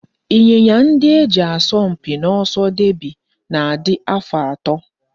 Ịnyịnya ndị e ji asọ mpi n'oso deby na-adị afọ atọ